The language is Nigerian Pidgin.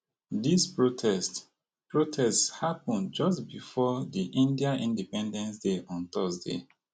dis protest protest happun just bifor di india independence day on thursday